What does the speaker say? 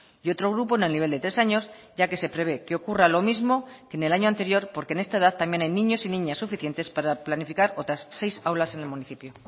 y otro grupo en el nivel de tres años ya que se prevé que ocurra lo mismo que en el año anterior porque en esta edad también hay niños y niñas suficientes para planificar otras seis aulas en el municipio